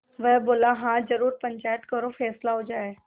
वह बोलेहाँ जरूर पंचायत करो फैसला हो जाय